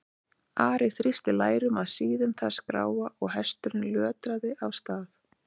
Ari þrýsti lærum að síðum þess gráa og hesturinn lötraði af stað.